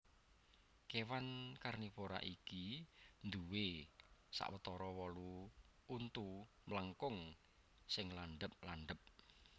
Kèwan karnivora iki duwè sawetara wolu untu mlengkung sing landhep landhep